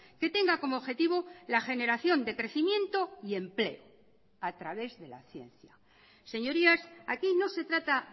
que tenga como objetivo la generación de crecimiento y empleo a través de la ciencia señorías aquí no se trata